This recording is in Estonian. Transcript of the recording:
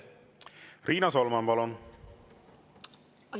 Riina Solman, palun!